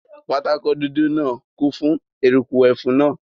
Pátákó dúdú náà kún fún eruku ẹfun náà